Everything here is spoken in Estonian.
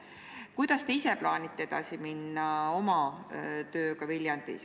Kuidas te ise plaanite oma tööga Viljandis edasi minna?